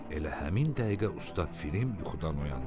Elə həmin dəqiqə usta Pifirim yuxudan oyandı.